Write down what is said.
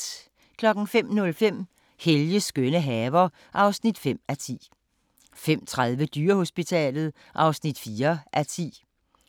05:05: Helges skønne haver (5:10) 05:30: Dyrehospitalet (4:10)